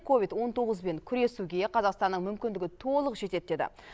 ковид он тоғызбен күресуге қазақстанның мүмкіндігі толық жетеді деді